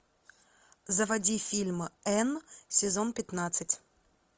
заводи фильм энн сезон пятнадцать